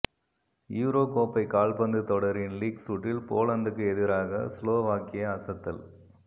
euro கோப்பை கால்பந்து தொடரின் லீக் சுற்றில் போலந்துக்கு எதிராக ஸ்லோவாக்கியா அசத்தல்